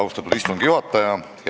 Austatud istungi juhataja!